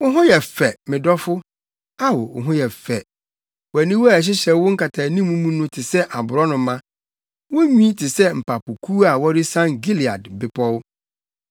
Wo ho yɛ fɛ, me dɔfo! Ao, wo ho yɛ fɛ! Wʼaniwa a ɛhyehyɛ wo nkataanim mu no te sɛ aborɔnoma. Wo nwi te sɛ mpapokuw a wɔresian Gilead Bepɔw.